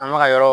An bɛ ka yɔrɔ